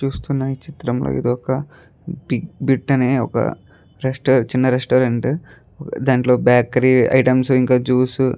చూస్తున ఈ చిత్రం లో ఇదొక బిగ్ బిట్ అనే ఒక రెస్టారంట్ చిన్న రెస్టారంట్ దాంట్లో బేకారి ఐటమ్స్ ఇంకా జ్యూస్ --